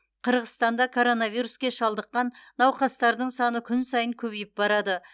қырғызстанда коронавируске шалдыққан науқастардың саны күн сайын көбейіп барады